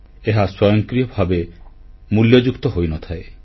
ଏହା ସ୍ୱୟଂକ୍ରିୟ ଭାବେ ମୂଲ୍ୟଯୁକ୍ତ ହୋଇନଥାଏ